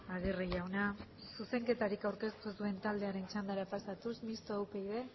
agirre jauna zuzenketarik aurkeztu ez duten taldearen txandara pasatuz mistoa upyd